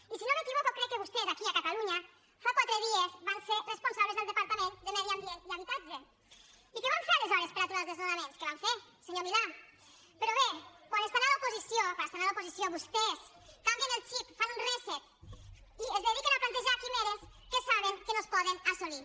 i si no m’equivoco crec que vostès aquí a catalunya fa quatre dies van ser responsables del departament de medi ambient i habitatge i què van fer aleshores per aturar els desnonaments què van fer senyor milà però bé quan estan a l’oposició quan estan a l’oposició vostès canvien el xip fan un reset i es dediquen a plantejar quimeres que saben que no es poden assolir